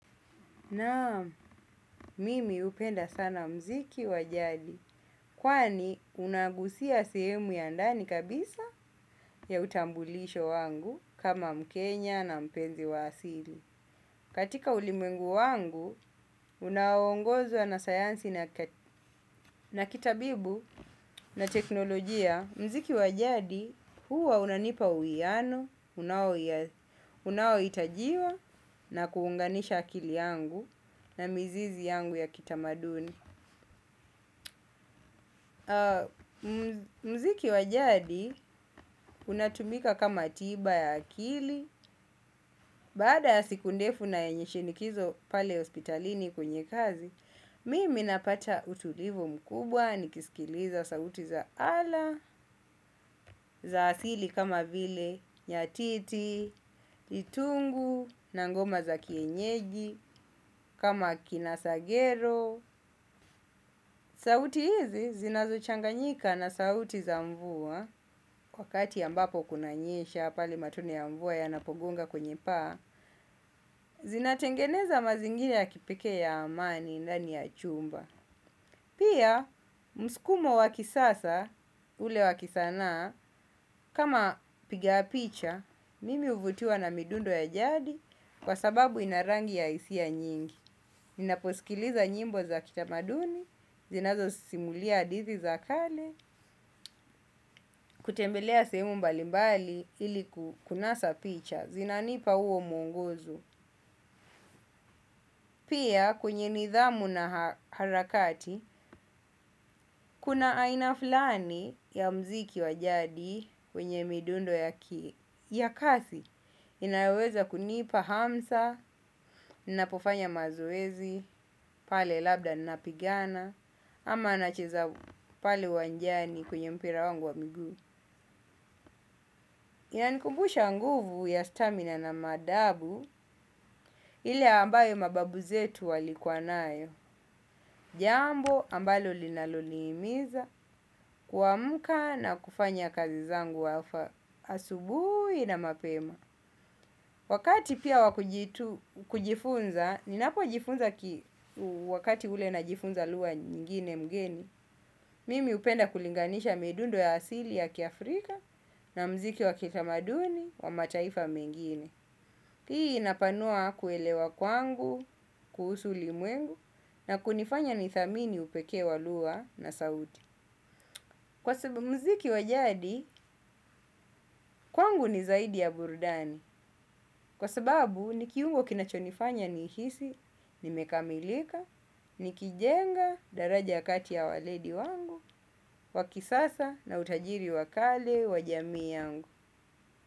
Naam, mimi upenda sana mziki wa jadi, kwani unagusia sehemu ya ndani kabisa ya utambulisho wangu kama mkenya na mpenzi wa asili. Katika ulimwengu wangu, unaongozwa na sayansi na kitabibu na teknolojia, mziki wa jadi huwa unanipa uiano, unaoitajiwa na kuunganisha akili yangu na mizizi yangu ya kitamaduni. Mziki wa jadi unatumika kama tiba ya akili. Baada ya siku ndefu na yenye shinikizo pale hospitalini kwenye kazi mimi napata utulivu mkubwa nikisikiliza sauti za ala. Za asili kama vile nyatiti, litungu, na ngoma za kienyeji kama kinasagero sauti hizi zinazo changanyika na sauti za mvua wakati ambapo kuna nyesha pale matone ya mvua yanapogonga kwenye paa, zinatengeneza mazingira ya kipekee ya amani ndani ya achumba. Pia, mskumo wa kisasa, ule wa kisanaa, kama piga picha, mimi uvutiwa na midundo ya jadi, kwa sababu ina rangi ya isia nyingi. Ninaposikiliza nyimbo za kitamaduni, zinazo simulia adithi za kale, kutembelea seemu mbalimbali ili kunasa picha, zinanipa uo muongozo. Pia kwenye nidhamu na harakati, kuna aina fulani ya mziki wa jadi kwenye midundo ya kazi. Inaweza kunipa hamsa, napofanya mazoezi, pale labda napigana, ama nacheza pale uwanjani kwenye mpira wangu wa miguu. Inanikumbusha nguvu ya stamina na madabu, ile ambayo mababu zetu walikua nayo. Jambo ambalo linaloniimiza kuamka na kufanya kazi zangu wafa asubui na mapema wakati pia wa kujifunza ninapojifunza kitu wakati ule najifunza lugha nyingine mgeni. Mimi upenda kulinganisha midundo ya asili ya kiafrika na mziki wa kitamaduni wa mataifa mengine. Hii inapanua kuelewa kwangu, kuhusu ulimwengu na kunifanya nithamini upekee waluwa na sauti. Kwa sababu mziki wa jadi, kwangu ni zaidi ya burudani. Kwa sababu, nikiungo kinachonifanya nihisi, nimekamilika, nikijenga daraja kati ya waledi wangu, wakisasa na utajiri wa kale wa jamii yangu.